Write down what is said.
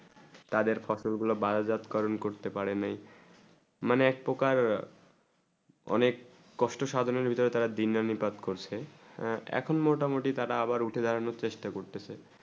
তাদের ফসল বারাজাত কর্ম করতে পারি নি মানে এক পোকা অনেক কষ্ট সাধনে হতে তারা দিনানুপাত করছে এখন মোটা মতি তারা আবার উঠে ড্রোন চেষ্টা করতেছে